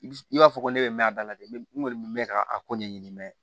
I b'a fɔ ko ne bɛ mɛn a da la dɛ n kɔni bɛ mɛn ka a ko ɲɛɲini mɛ